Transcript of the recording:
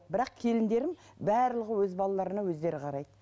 бірақ келіндерім барлығы өз балаларына өздері қарайды